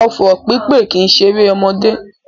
Ọfọ̀ pípè kìí ṣeré ọmọdé